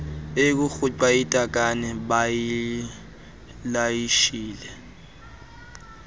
erhuqa itakane bayilayishele